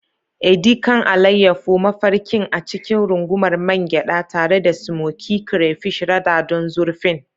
Edi kan, alayyafo mafarkin a cikin rungumar man gyada, tare da smokey crayfish rada don zurfin.